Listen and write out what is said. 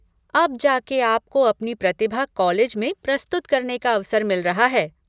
अब जा के आपको अपनी प्रतिभा कॉलेज में प्रस्तुत करने का अवसर मिल रहा है।